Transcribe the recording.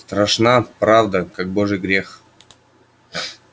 страшна правда как божий грех